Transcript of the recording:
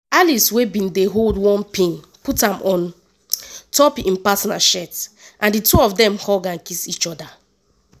alice wey bin dey hold one pin put am on top im partner shirt and di two of dem hug and kiss each oda.